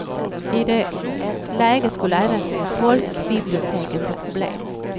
I det läget skulle även folkbiblioteken få problem.